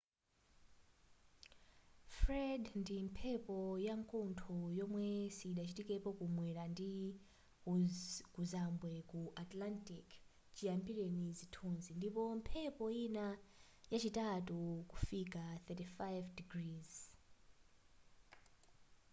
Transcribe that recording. fred ndi mphepo yakuntho yomwe sidachitikepo ku mwera ndi kuzambwe ku atlantic chiyambireni zinthuzi ndipo mphepo yina yachitatu kufika 35◦w